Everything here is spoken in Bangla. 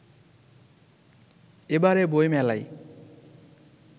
এবারে বই মেলায়